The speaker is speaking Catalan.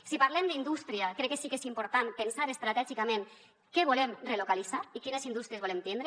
si parlem d’indústria crec que sí que és important pensar estratègicament què volem relocalitzar i quines indústries volem tindre